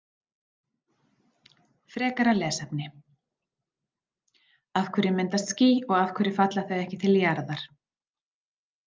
Frekara lesefni: Af hverju myndast ský og af hverju falla þau ekki til jarðar?